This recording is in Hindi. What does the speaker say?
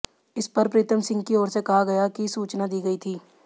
इस पर प्रीतम सिंह की ओर से कहा गया कि सूचना दी गई थी